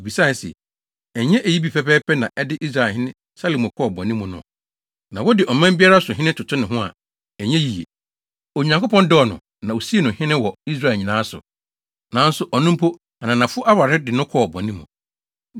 Mibisae se, “Ɛnyɛ eyi bi pɛpɛɛpɛ na ɛde Israelhene Salomo kɔɔ bɔne mu no?” Na wode ɔman biara so hene toto ne ho a, ɛnyɛ yiye. Onyankopɔn dɔɔ no, na osii no hene wɔ Israel nyinaa so. Nanso ɔno mpo ananafo aware de no kɔɔ bɔne mu.